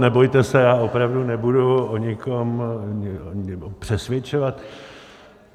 Nebojte se, já opravdu nebudu o nikom přesvědčovat.